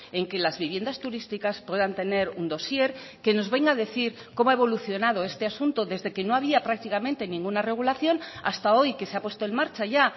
en que las viviendas turísticas puedan tener un dosier que nos venga a decir cómo ha evolucionado este asunto desde que no había prácticamente ninguna regulación hasta hoy que se ha puesto en marcha ya